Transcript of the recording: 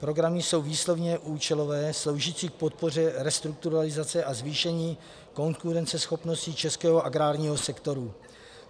Programy jsou výslovně účelové, sloužící k podpoře restrukturalizace a zvýšení konkurenceschopnosti českého agrárního sektoru.